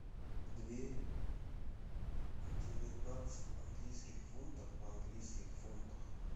две девятнадцать английских фунтов в английских фунтах